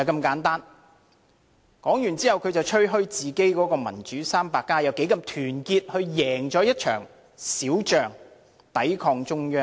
說完後，他便吹噓自己的"民主 300+" 有多麼團結，贏得一場小仗，抵抗中央。